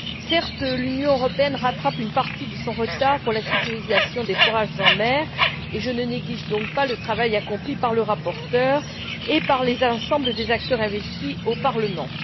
Certes, l'Union européenne rattrape une partie de son retard dans la sécurisation des forages en mer, et je ne néglige donc pas le travail accompli par le rapporteur et par l'ensemble des acteurs qui se sont investis au Parlement.